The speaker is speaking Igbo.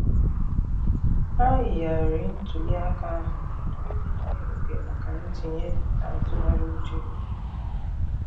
Ha yigharịrị ntuli aka ahụ iji nye oge maka ntinye na ntụgharị uche ọha.